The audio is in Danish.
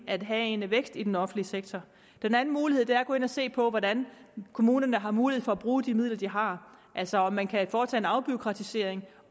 at have en vækst i den offentlige sektor den anden mulighed er at gå ind og se på hvordan kommunerne har mulighed for at bruge de midler de har altså om man kan foretage en afbureaukratisering